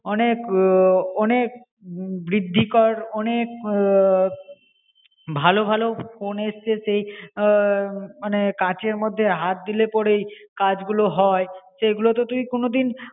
অনেক অনেক বৃদ্ধি কর অনেক ভালো ভালো ফোন এসছে আহ মানে কাচের মধে হাত দিলে পরে কাজগুলো হয়. সেগুলো তো তুই কোন দিন